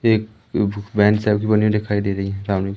एक बेंच बनी दिखाई दे रही है सामने--